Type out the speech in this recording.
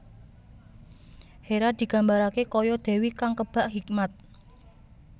Hera digambarake kaya dewi kang kebak hikmat